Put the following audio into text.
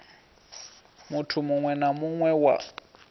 muthu muwe na muwe wa